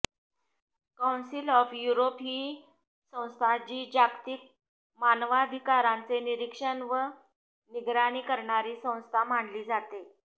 council of Europe ही संस्था जी जागतिक मानवाधिकारांचे निरीक्षण व निगराणी करणारी संस्था मानली जाते